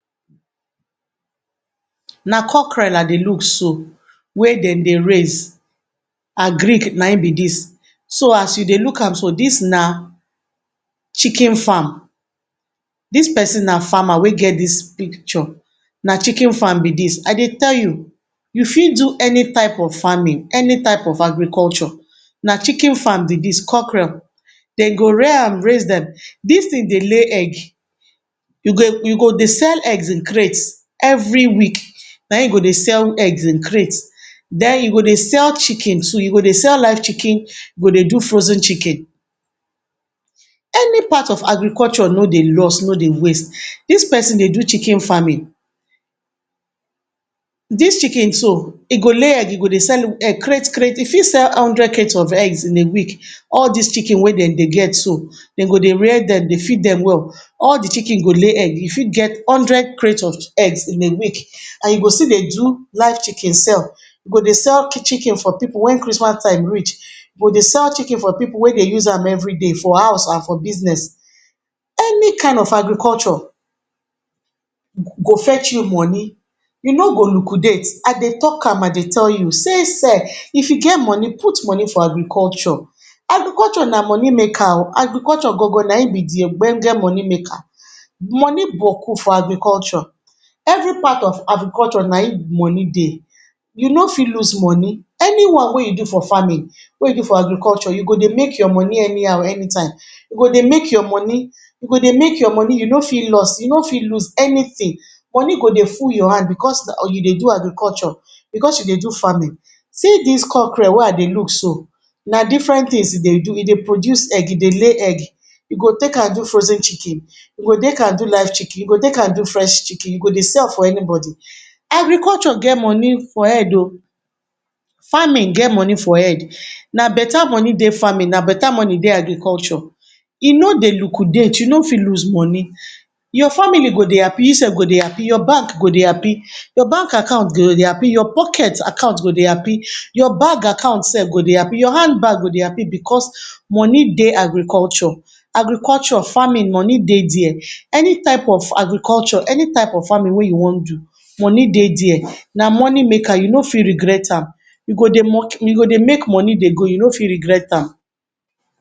Na cockrell I dey look so wey dem dey raise, agric na him be dis so as you dey look am so dis na chicken farm, dis pesin na farmer wey get dis picture, na chicken farm be dis, I dey tell you, you fit do any time of farming any time of agriculture Na chicken farm be dis, cockrell dem go rear am, raise dem dis tin dey lay egg, you go dey sell eggs in crate every week na im you go dey sell eggs in crate Then you go dey sell chicken too, you go dey sell live chicken you go dey do frozen chicken, any part of agriculture no dey loss no dey waste Dis pesin dey do chicken farming, dis chicken so e go lay egg, e go dey sell[um] sell crate crate, you fit sell hundred crate of egg in a week, all dis chicken wey dem dey get so, dem go rear dem dey feed dem well All di chicken go lay egg, you fit get hundred crate of eggs in a week, and you go still dey do live chicken sell, you go dey sell chicken for pipu wen crismas time reach, you go dey sell chicken for pipu wey dey use am every day for house and for business Any kind of agriculture go fetch you moni e no go lukudate, I dey talk am I dey tell you sey se if you get moni put moni for agriculture Agriculture na moni maker oh, agricuture gan ganna di real ogbonge maker, moni boku for agriculture, every part of agriculture na im money dey, you no fit lose moni Any one wey you do for farming wey you do for agricuture you go dey make your moni anyhow any time, you go dey make your moni, you go dey make your moni, you no fit loss, you no fit lose anytin Moni go dey full your hand because you dey do agriculture, because you dey do farming See dis cockrel wey I dey look so na different tins e dey do, e dey produce egg, e dey lay egg, you go take am do frozen chicken you go take am do live chicken, you go take am do fresh chicken, you go dey sell for anybody Agriculture get moni for head oh farming get moni for head, na beta moni dey farming, na beta money dey agriculture E no dey lukudate you no fit lose money, your family go dey hapi, you self-go dey hapi, your bank go dey hapi, your bank akant go dey hapi, your poket akant go dey hapi, your bag akant sef go dey hapi, your hand bag go dey hapi, because moni dey agriculture Agriculture farming moni dey dia, any type of agriculture any type farming wan you wan do monie dey dia. na monie maker you no fit regret me, you go dey make moni dey go you no fit regret am